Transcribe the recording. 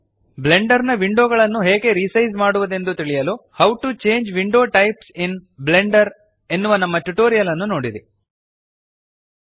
Blender ನ window ಗಳನ್ನು ಹೇಗೆ ರಿಸೈಜ್ ಮಾಡುವದೆಂದು ತಿಳಿಯಲು how to change window types in Blender how to change window types in Blender ಎನ್ನುವ ನಮ್ಮ ಟ್ಯುಟೋರಿಯಲ್ ನೋಡಿರಿ